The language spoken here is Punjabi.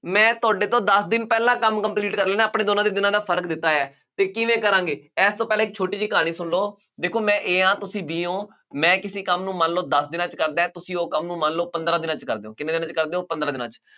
ਮੈਂ ਤੁਹਾਡੇ ਤੋਂ ਦਸ ਦਿਨ ਪਹਿਲਾਂ ਕੰਮ complete ਕਰ ਲੈਂਦਾ, ਆਪਣੇ ਦੋਨਾਂ ਦੇ ਦਿਨਾਂ ਦਾ ਫਰਕ ਦਿੱਤਾ ਹੋਇਆ ਅਤੇ ਕਿਵੇਂ ਕਰਾਂਗੇ, ਇਸ ਤੋਂ ਪਹਿਲਾਂ ਇੱਕ ਛੋਟੀ ਜਿਹੀ ਕਹਾਣੀ ਸੁਣ ਲਉ, ਦੇਖੋ ਮੈਂ A ਹਾਂ, ਤੁਸੀਂ B ਹੋ, ਮੈਂ ਕਿਸੀ ਕੰਮ ਨੂੰ ਮੰਨ ਲਉ ਦਸ ਦਿਨਾਂ ਚ ਕਰਦਾ, ਤੁਸੀਂ ਉਹ ਕੰਮ ਨੂੰ ਮੰਨ ਲਉ ਪੰਦਰਾਂ ਦਿਨਾਂ ਚ ਕਰਦੇ ਹੋ, ਕਿੰਨੇ ਦਿਨਾਂ ਚ ਕਰਦੇ ਹੋ, ਪੰਦਰਾਂ ਦਿਨਾਂ ਚ